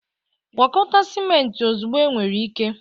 Gwakọta ciment ozugbo enwere ike